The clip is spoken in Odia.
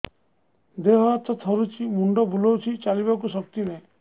ଦେହ ହାତ ଥରୁଛି ମୁଣ୍ଡ ବୁଲଉଛି ଚାଲିବାକୁ ଶକ୍ତି ନାହିଁ